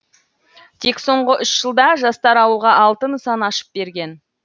тек соңғы үш жылда жастар ауылға алты нысан ашып берген